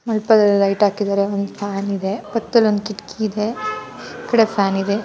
ಮಂಟಪದಲ್ಲಿ ಲೈಟ್ ಹಾಕಿದ್ದಾರೆ ಒಂದ್ ಫ್ಯಾನ್ ಇದೆ ಪಕ್ದಲ್ ಒಂದ್ ಕಿಟಕಿ ಇದೆ ಇಕಡೆ ಫ್ಯಾನ್ ಇದೆ.